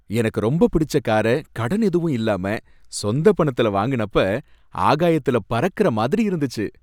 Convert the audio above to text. எனக்கு ரொம்ப பிடிச்ச கார கடன் எதுவும் இல்லாம சொந்த பணத்துல வாங்குனப்ப ஆகாயத்துல பறக்கற மாதிரி இருந்துச்சு.